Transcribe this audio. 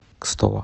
кстово